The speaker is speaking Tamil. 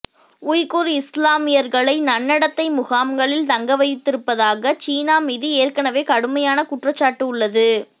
உய்குர் இஸ்லாமியர்களை நன்னடத்தை முகாம்களில் தங்கவைத்திருப்பதாக சீனா மீது ஏற்கெனவே கடுமையான குற்றச்சாட்டு உள்ளது